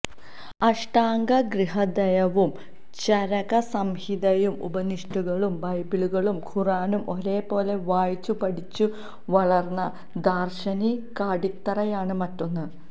അഷ്ടാംഗഹൃദയവും ചരകസംഹിതയും ഉപനിഷത്തുകളും ബൈബിളും ഖുറാനും ഒരേപോലെ വായിച്ചുപഠിച്ചു വളർന്ന ദാർശനികാടിത്തറയാണ് മറ്റൊന്ന്